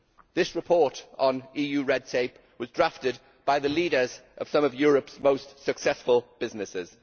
This report on EU red tape was drafted by the leaders of some of Europe's most successful businesses.